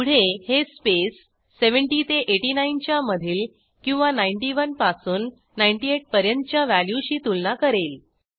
पुढे हे स्पेस 70 ते 89 च्या मधील किंवा 91 पासून 98 पर्यंतच्या व्हॅल्यूशी तुलना करेल